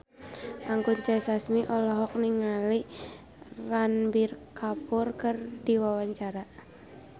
Anggun C. Sasmi olohok ningali Ranbir Kapoor keur diwawancara